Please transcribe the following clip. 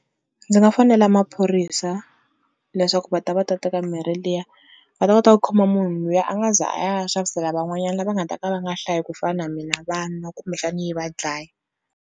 Ndzi nga fonela maphorisa leswaku va ta va ta teka mirhi liya, va ta kota ku khoma munhu luya a nga za a ya xavisela van'wanyani lava nga ta ka va nga hlayi ku fana mina vanwa kumbexani yi va dlaya.